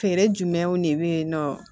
Feere jumɛnw de be yen nɔ